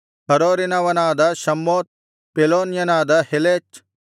ಹರೋರಿನವನಾದ Shammoth ಪೆಲೋನ್ಯನಾದ ಹೆಲೆಚ್